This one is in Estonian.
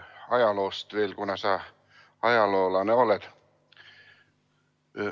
Ajaloost veel, kuna sa ajaloolane oled.